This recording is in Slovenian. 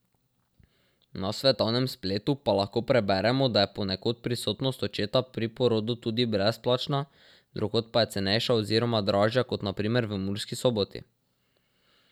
Na svetovnem spletu pa lahko preberemo, da je ponekod prisotnost očeta pri porodu tudi brezplačna, drugod pa je cenejša oziroma dražja kot na primer v Murski Soboti.